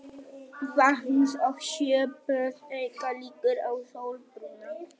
Vatns- og sjóböð auka líkur á sólbruna.